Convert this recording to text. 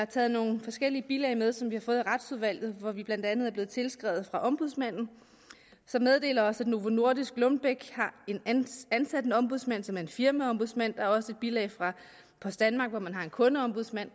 taget nogle forskellige bilag med som vi har fået af retsudvalget hvor vi blandt andet er blevet tilskrevet af ombudsmanden som meddeler os at novo nordisk og lundbeck har ansat en ombudsmand som er en firmaombudsmand der er også et bilag fra post danmark hvor man har en kundeombudsmand